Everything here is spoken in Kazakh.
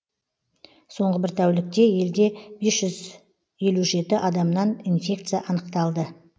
соңғы бір тәулікте елде бес жүз елу жеті адамнан инфекция анықталды